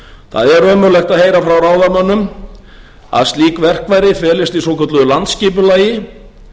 það er ömurlegt að heyra frá ráðamönnum að slík verkfæri felist í svokölluðu landsskipulagi